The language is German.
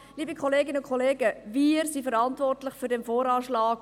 Liebe Kolleginnen und Kollegen: Wir sind verantwortlich für den VA.